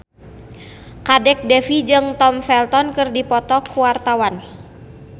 Kadek Devi jeung Tom Felton keur dipoto ku wartawan